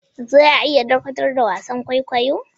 Za a iya dakatar da wasan kwaikwayo?